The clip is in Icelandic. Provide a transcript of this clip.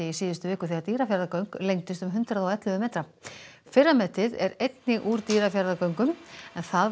síðustu viku þegar Dýrafjarðargöng lengdust um hundrað og ellefu metra fyrra metið er einnig úr Dýrafjarðargöngum en það var